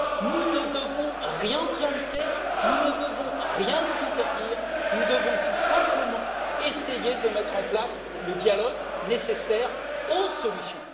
Nous ne devons rien préempter, nous ne devons rien nous interdire, nous devons tout simplement essayer de mettre en place le dialogue nécessaire aux solutions.